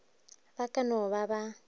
ba ka no ba ba